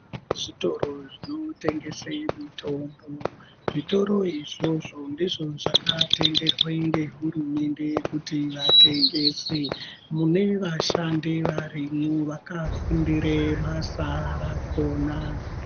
Zvitoro zvinotengese mitombo zvitoro izvozvo ndizvo zvakatenderwe ngehurumende kuti vatengese mune vashandi vakafundire basa rakhona.